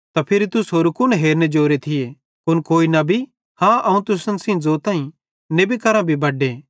त फिरी तुस होरू कुन हेरने जोरे थिये कुन कोई नबी हाँ अवं तुसन सेइं ज़ोताईं नेबी करां बड्डे